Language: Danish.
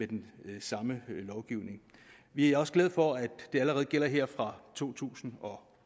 den samme lovgivning vi er også glade for at den allerede gælder her fra to tusind og